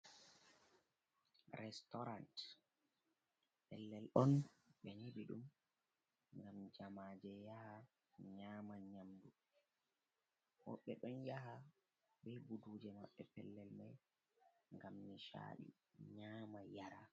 Restaurant pellel on ɓe nyɓi ɗum ngam jama je yaha nyama nyamdu, woɓɓe ɗon yaha bei buduje maɓɓe pellel mai gam nicaɗi nyama yara.